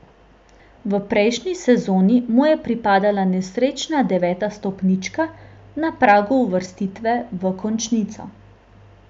V prejšnji sezoni mu je pripadla nesrečna deveta stopnička na pragu uvrstitve v končnico.